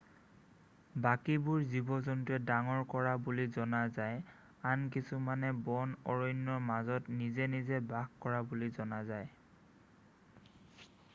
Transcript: বাকীবোৰ জীৱ-জন্তুৱে ডাঙৰ কৰা বুলি জনা যায় আন কিছুমানে বন অৰণ্যৰ মাজত নিজে নিজে বাস কৰা বুলি জনা যায়